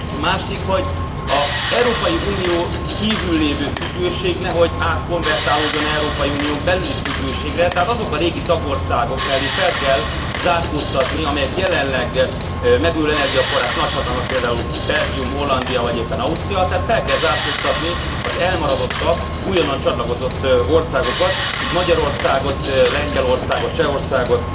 Második, hogy az Európai Unión kívül lévő függőség nehogy átkonvertálódjon Európai Unión belüli függőségre, tehát azok a régi tagországok mellé fel kell zárkóztatni, amelyek jelenleg megújuló energiaforrás nagyhatalmak, például Belgium, Hollandia vagy éppen Ausztria, tehát fel kell zárkóztatni az elmaradottabb, újonnan csatlakozott országokat, így Magyarországot, Lengyelországot, Csehországot